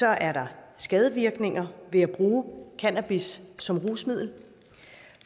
er der skadevirkninger ved at bruge cannabis som rusmiddel